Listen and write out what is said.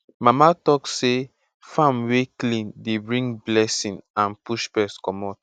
mama talk say farm wey clean dey bring blessing and push pest commot